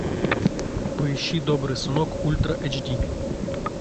поищи добрый сынок ультра эйч ди